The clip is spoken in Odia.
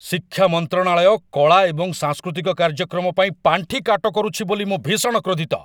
ଶିକ୍ଷା ମନ୍ତ୍ରଣାଳୟ କଳା ଏବଂ ସାଂସ୍କୃତିକ କାର୍ଯ୍ୟକ୍ରମ ପାଇଁ ପାଣ୍ଠି କାଟ କରୁଛି ବୋଲି ମୁଁ ଭୀଷଣ କ୍ରୋଧିତ ।